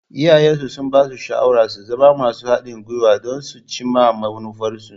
Iyayensu sun basu shawarar su zama masu haɗin guiwa don su cimma manufarsu.